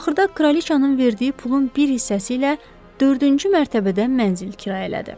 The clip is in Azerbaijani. Axırda Kraliçanın verdiyi pulun bir hissəsi ilə dördüncü mərtəbədən mənzil kirayə elədi.